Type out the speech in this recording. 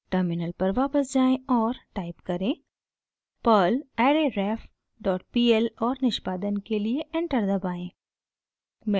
terminal पर वापस जाएँ और टाइप करें: perl arrayref डॉट pl और निष्पादन के लिए एंटर दबाएं